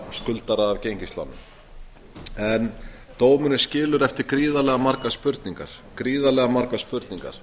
skuldara að gengislánum en dómurinn skilur eftir gríðarlega margar spurningar